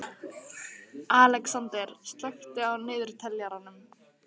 Alexander, slökktu á niðurteljaranum.